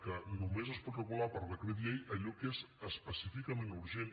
que només es pot regular per decret llei allò que és específicament urgent